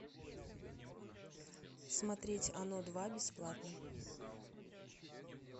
смотреть оно два бесплатно